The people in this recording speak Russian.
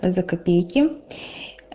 за копейки